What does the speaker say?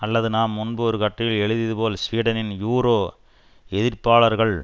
அல்லது நாம் முன்பு ஒரு கட்டுரையில் எழுதியதுபோல் ஸ்வீடனின் யூரோ எதிர்ப்பாளர்கள்